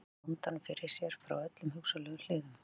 Hann velti vandanum fyrir sér frá öllum hugsanlegum hliðum.